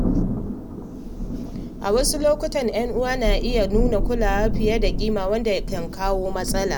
A wasu lokuta, ‘yan uwa na iya nuna kulawa fiye da kima wanda ke kawo matsala.